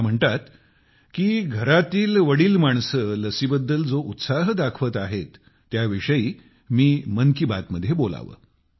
त्या म्हणतात की घरातील वडील माणसे लसीबद्दल जो उत्साह दाखवत आहेत त्याविषयी मी मन की बात मध्ये बोलावे